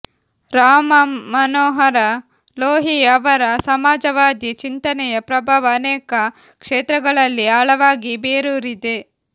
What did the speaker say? ರಾಮಮನೋಹರ ಲೋಹಿಯಾ ಅವರ ಸಮಾಜವಾದಿ ಚಿಂತನೆಯ ಪ್ರಭಾವ ಅನೇಕ ಕ್ಷೇತ್ರಗಳಲ್ಲಿ ಆಳವಾಗಿ ಬೇರೂರಿದೆ